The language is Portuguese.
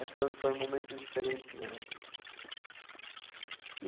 Foi foram momentos diferentes, né?